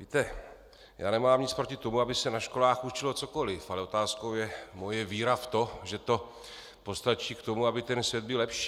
Víte, já nemám nic proti tomu, aby se na školách učilo cokoliv, ale otázkou je moje víra v to, že to postačí k tomu, aby ten svět byl lepší.